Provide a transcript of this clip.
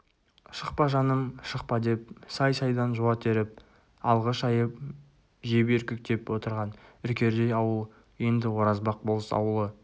шықпа жаным шықпа деп сай-сайдан жуа теріп алғы шайып жеп үркектеп отырған үркердей ауыл енді оразбақ болыс ауылы